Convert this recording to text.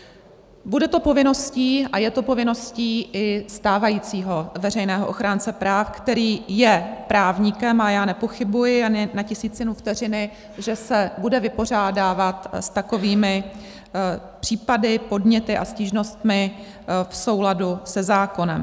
Bude to povinností a je to povinností i stávajícího veřejného ochránce práv, který je právníkem, a já nepochybuji ani na tisícinu vteřiny, že se bude vypořádávat s takovými případy, podněty a stížnostmi v souladu se zákonem.